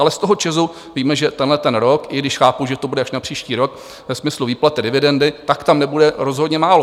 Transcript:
Ale z toho ČEZu víme, že tenhleten rok, i když chápu, že to bude až na příští rok ve smyslu výplaty dividendy, tak tam nebude rozhodně málo.